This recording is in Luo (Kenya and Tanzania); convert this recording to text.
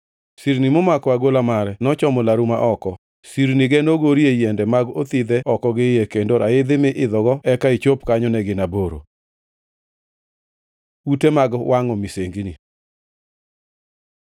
Sirni momako agola mare nochomo laru ma oko; sirnige nogorie yiende mag othidhe oko gi iye, kendo raidhi mi idho eka ichop kanyo ne gin aboro. Ute mag wangʼo misengini